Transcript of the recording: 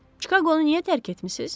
Çikaqonu niyə tərk etmisiz?